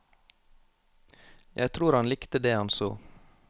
Jeg tror han likte det han så.